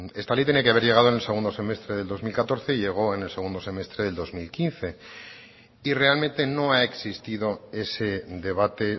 esta ley tenía que haber llegado en el segundo semestre del dos mil catorce y llegó en el segundo semestre del dos mil quince y realmente no ha existido ese debate